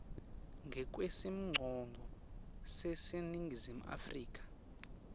ngekwesimongcondvo saseningizimu afrika